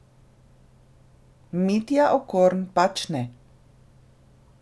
Mitja Okorn pač ne.